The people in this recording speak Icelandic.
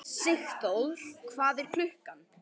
Sigþór, hvað er klukkan?